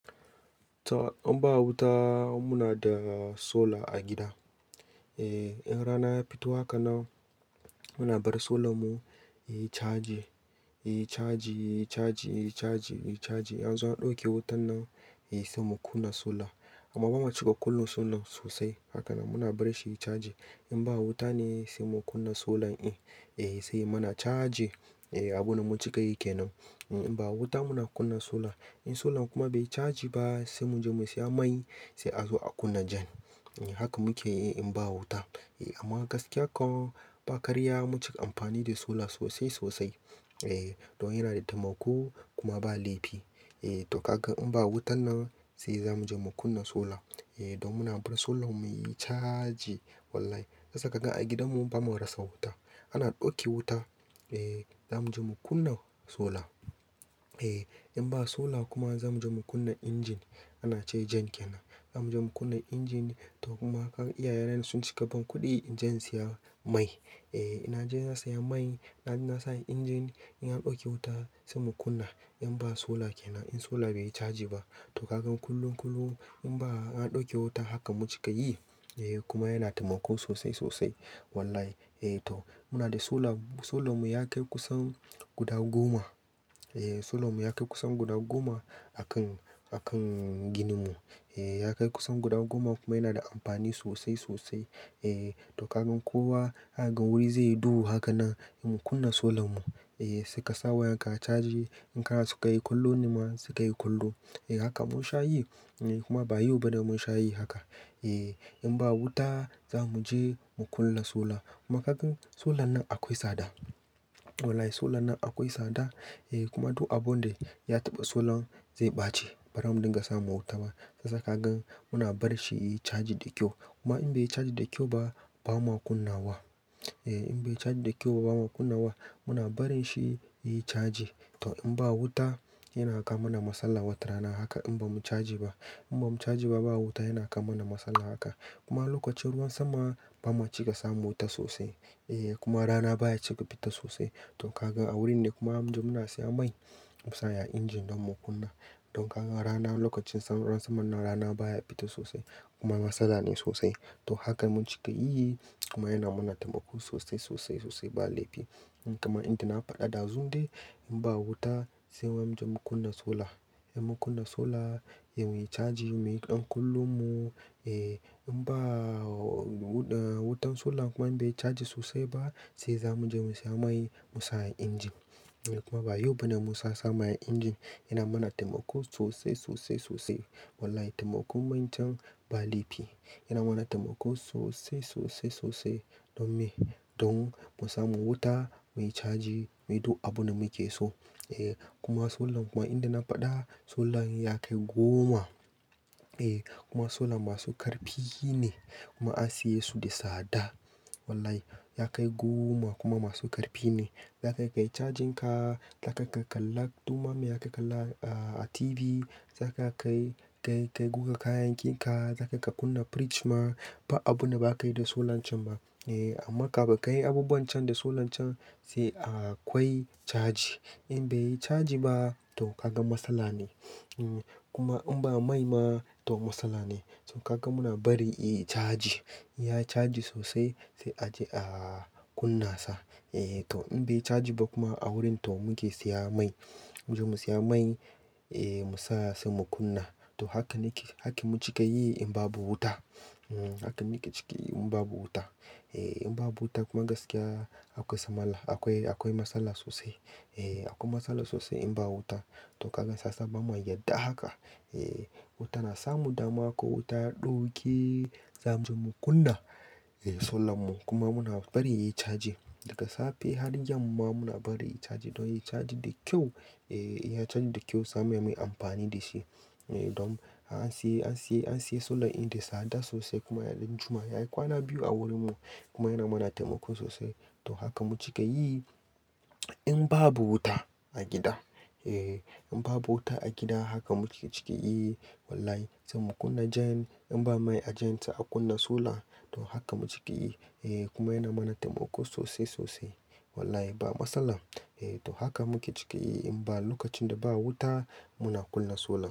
In ba wuta muna da solar a gida. In rana ya fito haka na muna bar solar mu yayi caji, yayi caji, yayi caji, yayi caji, yayi caji. Yanzu an ɗauke wutan nan sai mu kunna solar amma bamu cika kunna solan sosai. Haka nan muna bar shi yayi caji. In ba wuta ne sai mu kunna solar in, eh sai ya mana caji eh abin da mun cika yike nan. In ba wuta muna kunna solar. In solar kuma bai yi caji ba sai mu je mu saya mai sai a zo a kunna gen. Haka muke yi in ba wuta. Amman gaskiya kan ba karya mun cika amfani da solar sosai sosai. Eh, don yana da taimako kuma ba laifi. Eh to kaga in ba wutan nan sai zamu je mu kunna solar. Don muna bar solan mu yayi caji wallahi. Sasa kaga a gidan mu bamu rasa wuta. Ana ɗauki wuta, eh zamu je mu kunna solar. In ba solar kuma zamu je mu kunna injin ana ce jen kenan. Zamu je mu kunna injin to kuma kaga iyaye na ne sun cika ban kuɗi inje in siya mai. E, ina je na siya mai na bi na sa a injin in an ɗauke wuta sai mu kunna. In ba solar kenan, in solar bai yi caji ba. To kaga kullum kullum in ba an ɗauke wuta haka mu cika yi eh kuma yana taimako sosai sosai wallahi. Eh to muna da solar, solar mu ya kai kusan guda goma. Solar mu ya kai kusan guda goma a kan, a kan ginin mu. Ya kai kusan guda goma kuma yana da amfani sosai sosai. To kagan kowa za kaga wuri zai yi duhu haka nan sai mu kunna solar mu sai ka sa wayan ka yayi caji. In ka naso ka yi kollo nema sai ka yi kollo. Eh haka mun sha yi kuma ba yau ba ne mun sha yi haka. In ba wuta zamu je mu kunna solar kuma kaga solar nan akwai sada. Wallahi solar nan akwai sada eh kuma duk abun da ya taɓa solar ze ɓace. Bara mu dinga samun wuta ba. Yasa kagan muna bar shi yayi caji da kyau. Kuma in bai yi caji da kyau ba ba ma kunna wa. In bai caji da kyau ba ba ma kunna wa. Muna barin shi yayi caji. To in ba wuta yana kawo mana matsala wata rana haka in ba mu caji ba. In ba mu caji ba, ba wuta yana kawo mana matsala haka. Kuma lokacin ruwan sama ba ma cika samu wuta sosai. E kuma rana baya cika fita sosai. To kaga a wurin ne kuma abun da muna siya mai mu sa a injin don mu kunna. Don kaga rana lokacin ruwan saman nan rana baya fita sosai kuma matsala ne sosai. To haka mun cika yi kuma yana mana taimako sosai sosai sosai ba laifi. Kamar inda na faɗa ɗazun dai in ba wuta sai mu je mu kunna solar. In mu kunna solar ya yi caji muyi ɗan kollon mu. In ba wutan solar kuma in bai yi caji sosai ba sai zamu je mu siya mai mu sa a injin. Kuma ba yau bane mu sa samai a injin yana mana taimako sosai sosai sosai. Wallahi taimakon main can ba laifi. Yana mana taimako sosai sosai sosai. Don me? Don mu samu wuta muyi caji muyi duk abun da muke so. E kuma solan kuma inda na faɗa solan ya kai goma. E kuma solan masu karfi ne kuma an siye su da tsada. Wallahi ya kai goma kuma masu karfi ne. Zaka kai cajin ka, zaka kai kalla ɗuma mai ya kai kalla a TV, zaka kai kai guga kayakinka, zaka ka kunna fridge ma ba abu na ba ka yi da solar can ba. Amma kaga ka yi abubuwan can da solar can sai akwai caji. In bai yi caji ba to kaga matsala ne. Kuma in ba mai ma to matsala ne. To kaga muna bari yayi caji. Ya caji sosai sai a je a kunna sa. E to in bai caji ba kuma a wurin to muke siya mai. Mu je mu siya mai, e mu sa sai mu kunna. To haka nake, haka mun cika yi in babu wuta. Haka nake ciki yi in babu wuta. In babu wuta kuma gaskiya akwai samala, akwai, akwai matsala sosai. E akwai matsala sosai in ba wuta. To kaga sasa bamua yarda haka. E wuta na samu damuwa ko wuta ɗauke zamu je mu kunna solar mu. Kuma muna barin yayi caji daga safe har yanma muna barin yayi caji don yayi caji da kyau. E ya caji da kyau same muyi amfani da shi. Don an siya, an siya, an siya solar inda sada sosai kuma ɗan juma'a. Yayi kwana biyu a wurin mu kuma yana mana taimako sosai. To haka mun cika yi in babu wuta a gida. E in babu wuta a gida haka muke cika yi wallahi. Sai mu kunna jen in ba mai a jen sai a kunna solar. To haka mun cika yi. E kuma yana mana taimako sosai sosai. Wallahi ba matsala. To haka muke cika yi in ba lokacin da ba wuta muna kunna solar.